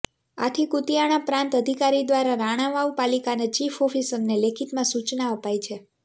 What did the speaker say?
આથી કુતિયાણા પ્રાંત અધિકારી દ્વારા રાણાવાવ પાલિકાના ચીફ ઓફિસરને લેખીતમાં સૂચના અપાઈ છે